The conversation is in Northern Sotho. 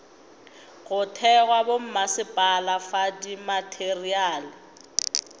go thekga bommasepala fa dimateriale